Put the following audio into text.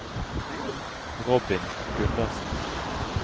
Robin Gundersen